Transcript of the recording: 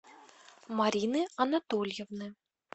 марины анатольевны